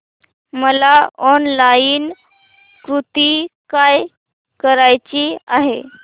मला online kurti buy करायची आहे